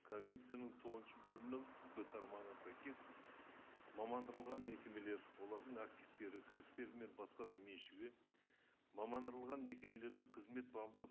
конвенцияның тоғызыншы бөлімінің б тармағына сәйкес мекемелер олардың активтері кірістері мен басқа да меншігі мекемелердің қызмет бабында